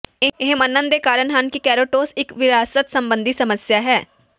ਇਹ ਮੰਨਣ ਦੇ ਕਾਰਨ ਹਨ ਕਿ ਕੇਰੋਟੌਸ ਇੱਕ ਵਿਰਾਸਤ ਸੰਬੰਧੀ ਸਮੱਸਿਆ ਹੈ